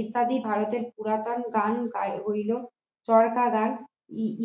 ইত্যাদি ভারতের পুরাতন গান হইল চরকাগান